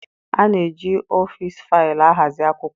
A na-eji ọfịs faịlụ ahazi akwụkwọ.